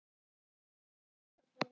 Ég spyr.